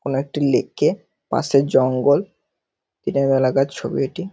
কোন একটি লেক -এর পাশে জঙ্গল দিনের বেলাকার ছবি এটি।